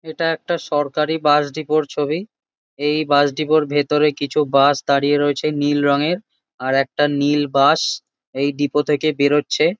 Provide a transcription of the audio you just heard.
এটা একটা সরকারি বাস ডিপো -র ছবি। এই বাস ডিপো -র ভেতরে কিছু বাস দাঁড়িয়ে রয়েছে নীল রঙের। আর একটা নীল বাস এই ডিপো থেকে বেড়োচ্ছে।